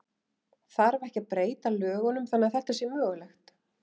Þarf ekki að breyta lögunum þannig að þetta sé mögulegt?